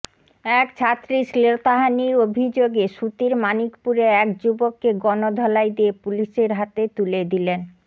এক ছাত্রীর শ্লীলতাহানির অভিযোগে সুতির মানিকপুরে এক যুবককে গণধোলাই দিয়ে পুলিশের হাতে তুলে দিলেন